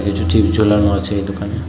কিছু চিপস ঝোলানো আছে এই দোকানে।